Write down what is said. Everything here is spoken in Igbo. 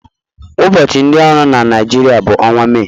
Ụbọchị ndị ọrụ na Naịjirịa bụ ọnwa Mee